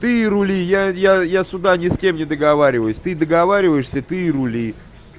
ты рули я я я сюда ни с кем не договариваюсь ты договариваешься ты и рули